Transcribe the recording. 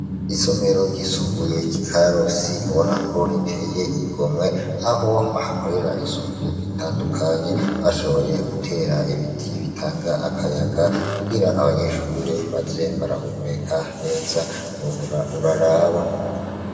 Isomero ryisumbuye kikarosi bonako riteye igomwe aho bahakorera isuku ritandukanye bashoboye gutera ibiti bitanga akayaga kugira abanyeshure baze barahumeka neza uhora uraraba.